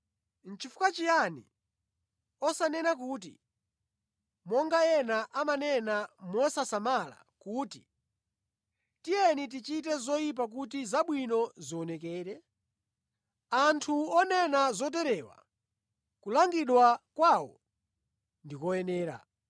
Nʼchifukwa chiyani osanena kuti, monga ena amanena mosasamala kuti, “Tiyeni tichite zoyipa kuti zabwino zionekere?” Anthu onena zoterewa kulangidwa kwawo ndi koyenera.